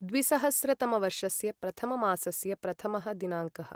द्विसहस्रतमवर्षस्य प्रथममासस्य प्रथमः दिनाङ्कः